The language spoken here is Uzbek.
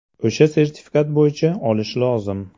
O‘sha sertifikat bo‘yicha olish lozim.